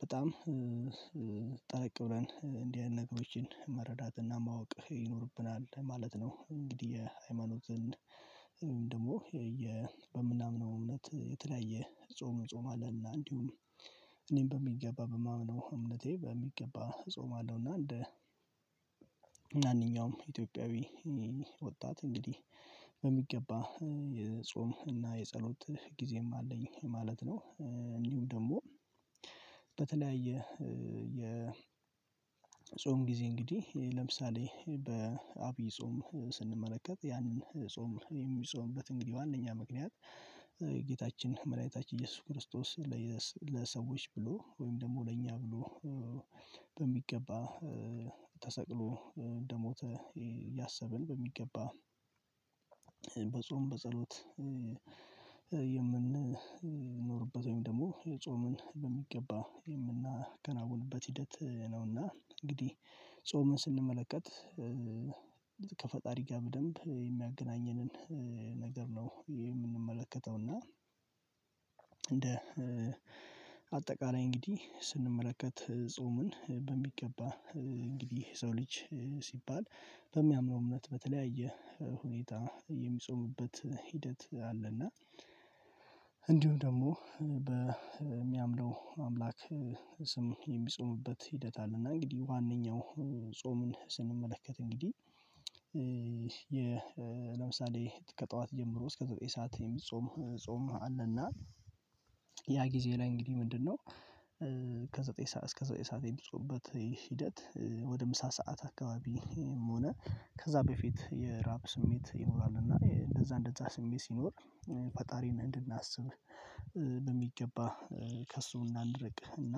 በጣም ጠለቅ ብለን እንዲህ ያህል ነገሮችን መረዳትና ማወቅ ይኖርብናል ማለት ነው። እንግዲህ የሃይማኖትን ደግሞ በምናምነው እምነት የተለያየ ጾም እንጾማለ እና እንዲሁም እኔም በሚገባ በማምነው እምነቴ በሚገባ እጾምለው እና እንደ ማንኛውም ኢትዮጵያዊ ወጣት እንግዲህ በሚገባ የጾም እና የጸሎት ጊዜም አለኝ ማለት ነው። እንዲሁም ደግሞ በተለያየ የጾም ጊዜ እንግዲህ ለምሳሌ በአብይ ጾም ስንመለከት ያንን ጾም የሚጾምበት እንግዲህ ዋናኛ ምክንያት የጌታችን መድኃኒታችን ኢየሱስ ክርስቶስ ለሰዎች ብሎ ወይም ደግሞ ለእኛ ብሎ በሚገባ ተሰቅሎ እንደሞተ ያሰብን በሚገባ በጸሎት የምንኖርበት ወይም ደግሞ የጾምን በሚገባ የምናከናውንበት ሂደት ነውና። እንግዲህ ጾምን ስንመለከት ከፈጣሪ ጋር በደንብ የሚያገናኘንን ነገር ነው የምንመለከተው እና እንደ አጠቃላይ እንግዲህ ስንመለከት ጾምን በሚገባ እንግዲህ ሰው ልጅ ሲባል በሚያምነው እምነት በተለያየ ሁኔታ የሚጾምበት ሂደት አለና እንዲሁ ደግሞ በሚያምነው አምላክ ስም የሚጾምበት ሂደት አለ። እና እንግዲህ ዋናውን ጾምን ስንመለከት እንግዲህ ለምሳሌ ከጠዋት ጀምሮ እስከ ዘጠኝ ሰዓት የሚጾም ጾም አለና ያ ጊዜ ላይ እንግዲህ ምንድነው? ከዘጠኝ እስከ ዘጠኝ ሰዓት የሚጾምበት ሂደት ወደ ምሳ ሰዓት አካባቢም ሆነ ከዛ በፊት የራብ ስሜት ይኖራል እና እንደዛ እንደዛ ስሜት ሲኖር ፈጣሪን እንድናስብ በሚገባ ከእሱ እንዳንርቅ እና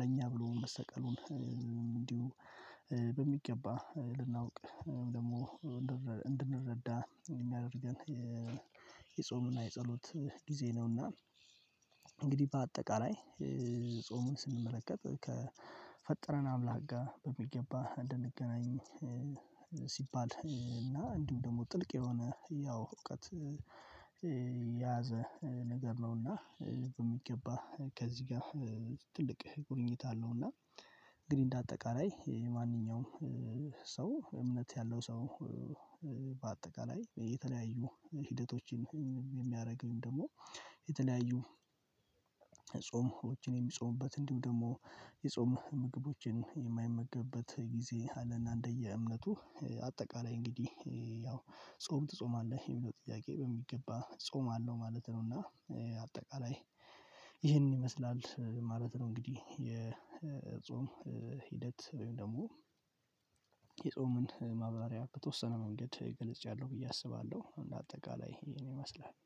ለእኛ ብሎ መሰቀሉን እንዲሁ በሚገባ ልናውቅ ደግሞ እንድንረዳ የሚያደርገን የጾሙና የጸሎት ጊዜ ነውና። እንግዲህ በአጠቃላይ ጾሙን ስንመለከት ከፈጠረን አምላክ ጋር በሚገባ እንድንገናኝ ሲባል እና እንዲሁ ደግሞ ጥልቅ የሆነ ያው እውቀት የያዘ ነገር ነውና በሚገባ ከዚህ ጋር ትልቅ ቁርኝት አለው። እና እንግዲህ እንደ አጠቃላይ የማንኛውም ሰው እምነት ያለው ሰው በአጠቃላይ የተለያዩ ሂደቶችን የሚያደርገኝ ደግሞ የተለያዩ ጾሞችን የሚጾምበት እንዲሁ ደግሞ የጾም ምግቦችን የማይመገብበት ጊዜ አለና እንደየ እምነቱ አጠቃላይ እንግዲህ ያው ጾም ትጾማለህ የሚለው ጥያቄ በሚገባ ጾም አለው ማለት ነው እና አጠቃላይ ይህንን ይመስላል ማለት ነው። እንግዲህ የጾም ሂደት ወይም ደግሞ የጾምን ማብራሪያ በተወሰነ መንገድ ገልጫለሁ ብዬ አስባለሁ። አንድ አጠቃላይ ይሄን ይመስላል